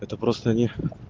это просто не